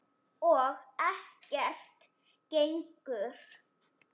Og ekkert gengur.